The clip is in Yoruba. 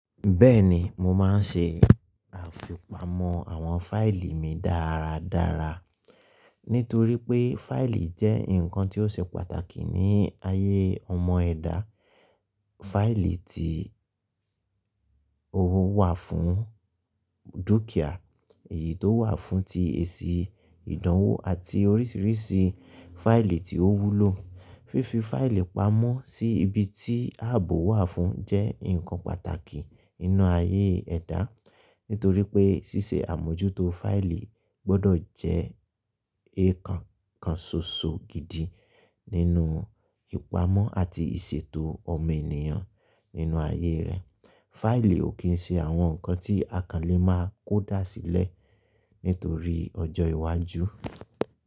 Bẹ́ẹ̀ni, mo máa ń ṣe àfipamọ́ àwọn fáìlì mi dára dára. Nítorí pé fáìlì jẹ́ nǹkan tí ó ṣe pàtàkì ní ayé ọmọ ẹ̀dá. Fáìlì tí owó wà fún dúkìá, èyí tó wà fún ti èsì ìdánwò àti oríṣiríṣi fáìlì tí ó wúlò. Fífi fáìlì pamọ́ sí ibi tí ààbò wà fún jẹ́ nǹkan pàtàkì nínú ayé ẹ̀dá. Nítorí pé ṣíṣe àmójútó fáìlì gbọ́dọ̀ jẹ́ nkankan ṣoṣo gidi nínú ìpamọ́ àti ìṣètò ọmọ enìyàn nínú ayé rẹ̀. Fáìlì ò kí ń ṣe àwọn nǹkan tí akànlé máa kó dàsílẹ̀ nítorí ọjọ́ iwájú.